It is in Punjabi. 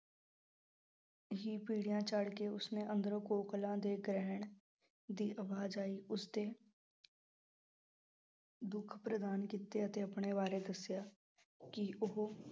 ਹੀ ਪੀੜੀਆਂ ਚੜਕੇ ਉਸਨੇ ਅੰਦਰੋਂ ਕੋਕਿਲੇ ਦੇ ਕਹਿਣ ਦੀ ਆਵਾਜ਼ ਆਈ ਉਸਦੇ ਦੁੱਖ ਪ੍ਰਦਾਨ ਕੀਤੇ ਅਤੇ ਆਪਣੇ ਬਾਰੇ ਦੱਸਿਆ ਕਿ ਉਹ